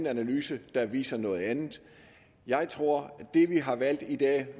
analyse der viser noget andet jeg tror at det vi har valgt i dag